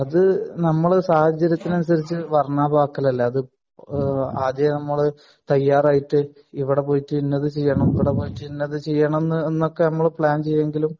അത് നമ്മളെ സാഹചര്യത്തിനനുസരിച്ചു വർണ്ണാഭമാക്കൽ അല്ലെ അത് ആദ്യം നമ്മൾ തയ്യാറായിട്ട് ഇവിടെ പോയിട്ട് ഇന്നത് ചെയ്യണം ഇവിടെ പോയിട്ട് ഇന്നത് ചെയ്യണം എന്നൊക്കെ നമ്മൾ പ്ലാൻ ചെയ്യുമെങ്കിലും